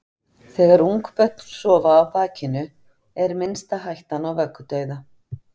Þegar ungbörn sofa á bakinu er minnsta hættan á vöggudauða.